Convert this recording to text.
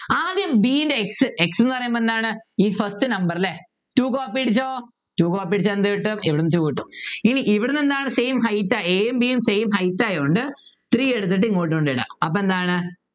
ആദ്യം b ൻ്റെ x x ന്നു പറയുമ്പോ എന്താണ് ഈ first number അല്ലെ എന്ത് കിട്ടും ഇവിടുന്നു two കിട്ടും ഇവിടെ എന്താണ് same height a യും b യും same height ആയതുകൊണ്ട് three എടുത്തിട്ട് ഇങ്ങോട്ട് കൊണ്ട്ഇടുക അപ്പൊ എന്താണ്